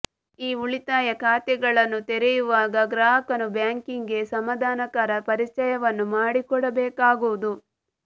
ಈ ಉಳಿತಾಯ ಖಾತೆಗಳನ್ನು ತೆರೆಯುವಾಗ ಗ್ರಾಹಕನು ಬ್ಯಾಂಕಿಗೆ ಸಮಾದಾನಕರ ಪರಿಚಯವನ್ನು ಮಾಡಿಕೊಡಬೇಕಾಗುವುದು